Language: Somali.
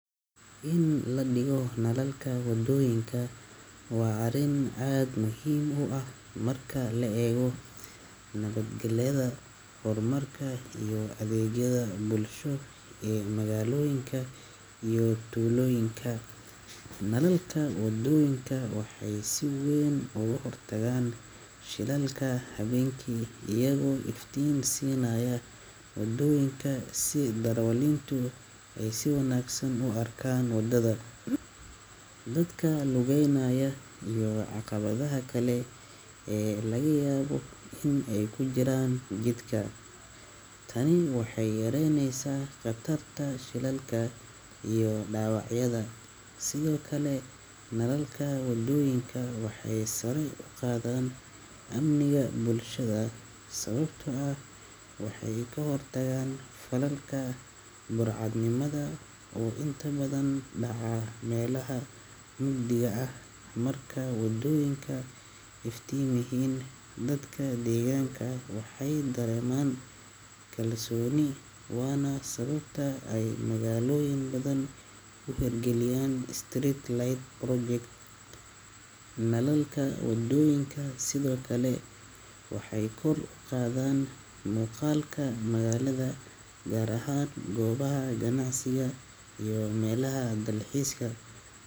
In la dhigo nalalka wadooyinka waa arrin aad muhiim u ah marka la eego nabadgelyada, horumarka iyo adeegyada bulsho ee magaalooyinka iyo tuulooyinka. Nalalka wadooyinka waxay si weyn uga hortagaan shilalka habeenkii, iyagoo iftiin siinaya waddooyinka si darawaliintu ay si wanaagsan u arkaan waddada, dadka lugaynaya, iyo caqabadaha kale ee laga yaabo in ay ku jiraan jidka. Tani waxay yareynaysaa khatarta shilalka iyo dhaawacyada. Sidoo kale, nalalka wadooyinka waxay sare u qaadaan amniga bulshada sababtoo ah waxay ka hortagaan falalka burcadnimada oo inta badan ka dhaca meelaha mugdiga ah. Marka wadooyinku iftiimanyihiin, dadka deegaanka waxay dareemaan kalsooni, waana sababta ay magaalooyin badan u hirgeliyaan street lighting projects. Nalalka wadooyinka sidoo kale waxay kor u qaadaan muuqaalka magaalada, gaar ahaan goobaha ganacsiga iyo meelaha dalxiiska.